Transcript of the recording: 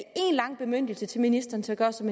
lang bemyndigelse til ministeren til at gøre som